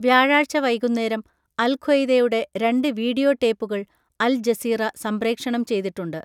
വ്യാഴാഴ്ച വൈകുന്നേരം അൽ ഖ്വയ്ദയുടെ രണ്ട് വീഡിയോ ടേപ്പുകൾ അൽ-ജസീറ സംപ്രേക്ഷണം ചെയ്തിട്ടുണ്ട്.